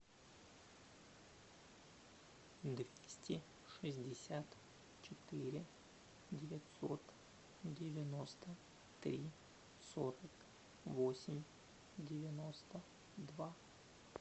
двести шестьдесят четыре девятьсот девяносто три сорок восемь девяносто два